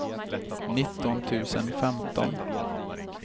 nitton tusen femton